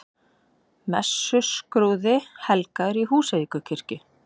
Messuskrúði helgaður í Húsavíkurkirkju